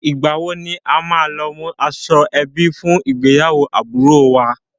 Ìgbà wo ni a máa lọ mú aṣọ ẹbí fún ìgbéyàwó àbúròo wa?